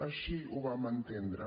així ho vam entendre